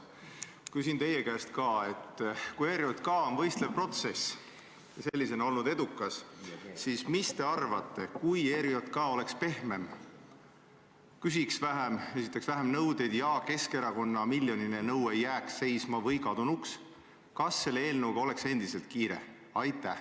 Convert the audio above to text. Ma küsin teie käest ka, et kui ERJK töö on võistlev protsess ja sellisena olnud edukas, siis mis te arvate, kui ERJK oleks pehmem, küsiks vähem, esitaks vähem nõudeid ja Keskerakonda ähvardav miljoniline nõue jääks seisma või kaoks, kas siis selle eelnõuga oleks ikkagi kiire?